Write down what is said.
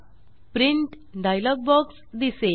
print dialog box दिसेल